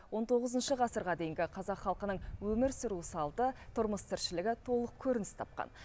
он тоғызыншы ғасырға дейінгі қазақ халқының өмір сүру салты тұрмыс тіршілігі толық көрініс тапқан